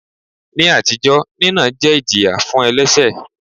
Ní àtijọ́, nínà jẹ́ ìjìyà fún elẹ́ṣẹ̀.